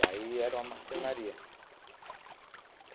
Daí era uma marcenaria.